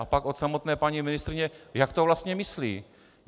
A pak od samotné paní ministryně - jak to vlastně myslí?